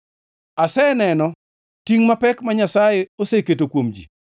Aseneno tingʼ mapek ma Nyasaye oseketo kuom ji.